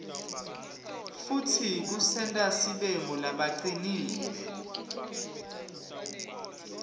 futsi kusenta sibe ngulabacinile